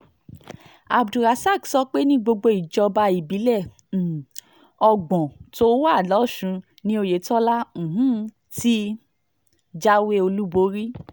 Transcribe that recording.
abdulrasaq sọ pé ní gbogbo ìjọba ìbílẹ̀ um ọgbọ́n tó wà lọ́sùn ni oyetola um ti jáwé olúborí